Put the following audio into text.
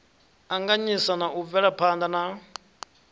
anganyisa na u bvelaphana na